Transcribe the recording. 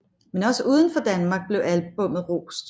Men også udenfor Danmark blev albummet rost